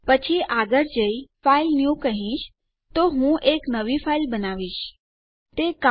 પછી હું આગળ જઈશ અને ફાઇલન્યુ કહીશ તો હું એક નવી ફાઇલ બનાવી રહ્યી છું